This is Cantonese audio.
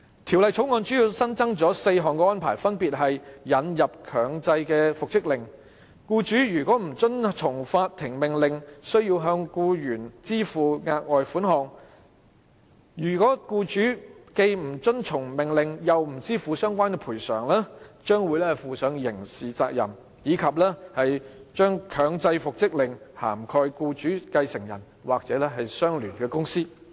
《條例草案》主要新增4項安排，分別是：引入強制復職令；僱主若不遵從法庭命令，須向僱員支付額外款項；若僱主既不遵從命令，又不支付相關款項，將會負上刑事責任；以及將強制復職令涵蓋僱主繼承人或相聯公司。